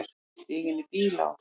Stíg inn í bíl, á.